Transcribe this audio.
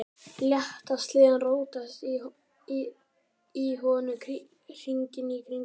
Létu sleðann rótast í honum, hringinn í kringum hann.